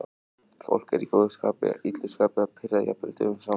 Fólk er í góðu skapi, illu skapi eða pirrað jafnvel dögum saman.